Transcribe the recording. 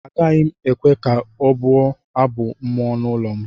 Agaghị m ekwe ka ọ bụọ Abụ mmụọ n’ụlọ m